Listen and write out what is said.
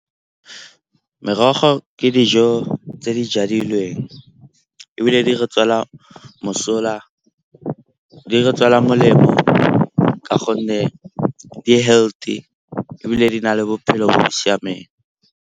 Merogo ke dijo tse di jadilweng ebile di re tswela molemo ka gonne di-healthy ebile di na le bophelo bo bo siameng.